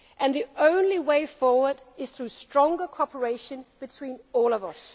our European social model and our values, and we will continue to do